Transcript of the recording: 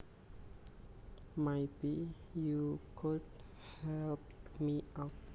Maybe you could help me out